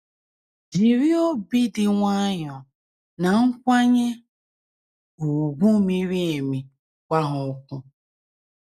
Jiri “ obi dị nwayọọ na nkwanye ùgwù miri emi ” gwa ha okwu.